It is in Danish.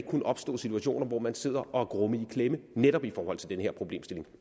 kunne opstå situationer hvor man sidder og er grumme i klemme netop i forhold til den her problemstilling